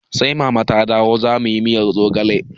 Sai mama ta dawo zamuyi miyar zogale